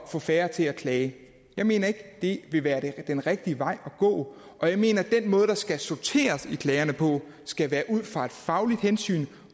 få færre til at klage jeg mener ikke det vil være den rigtige vej at gå og jeg mener at den måde man skal sortere i klagerne på skal være ud fra et fagligt hensyn